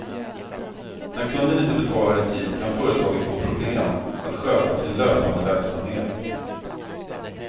När kunden inte betalar i tid kan företaget få problem att sköta sin löpande verksamhet.